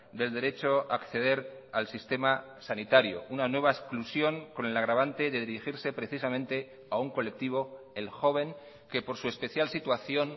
del derecho a acceder al sistema sanitario una nueva exclusión con el agravante de dirigirse precisamente a un colectivo el joven que por su especial situación